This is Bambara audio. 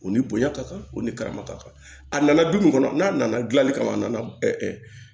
U ni bonya ka kan u ni karama ka kan a nana du mun kɔnɔ n'a nana dilali kama a nana